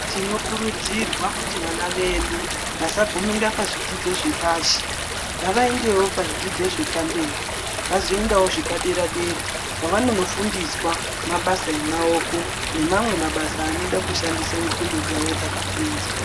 Tinokurudzirwa kuti vana vedu vasagumire pazvidzidzo zvepashi ngavaendewo pazvidzidzo zvepamberi vazoendawo zvepadera-dera kwavanonofundiswa mabasa emaoko nemamwe mabasa anode kushandisa nxlondo dzawo dzakapinza.